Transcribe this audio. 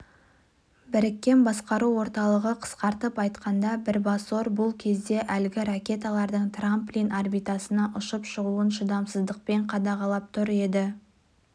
біріккен басқару орталығы қысқартып айтқанда бірбасор бұл кезде әлгі ракеталардың трамплин орбитасына ұшып шығуын шыдамсыздықпен қадағалап тұр еді